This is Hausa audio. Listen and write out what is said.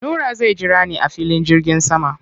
Nura zai jira ni a filin jirgin sama.